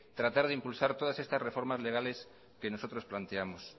tratar de impulsar todas estas reformas legales que nosotros planteamos